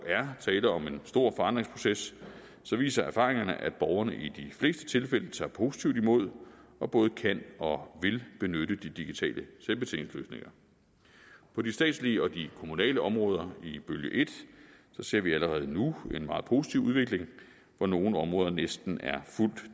er tale om en stor forandringsproces viser erfaringerne at borgerne i de fleste tilfælde tager positivt imod og både kan og vil benytte de digitale selvbetjeningsløsninger på de statslige og de kommunale områder i bølge en ser vi allerede nu en meget positiv udvikling hvor nogle områder næsten er fuldt